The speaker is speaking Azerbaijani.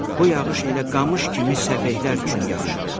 Bu yağış elə qamış kimi səfehlər üçün yaxşıdır.